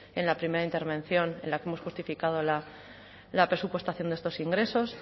en la primera intervención en la que hemos justificado la presupuestación de estos ingresos